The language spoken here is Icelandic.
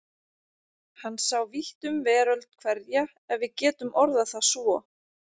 Hann sá vítt um veröld hverja ef við getum orðað það svo.